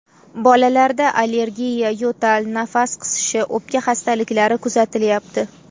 Bolalarda allergiya, yo‘tal, nafas qisishi, o‘pka xastaliklari kuzatilyapti.